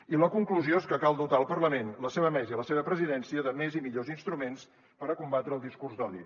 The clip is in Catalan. i la conclusió és que cal dotar el parlament la seva mesa i la seva presidència de més i millors instruments per a combatre el discurs d’odi